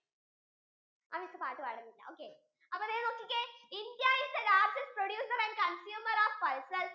പാട് പാടുനില്ല okay അപ്പൊ ദേ നോക്കിക്കേ Indiais the largest producer and consumer of pulses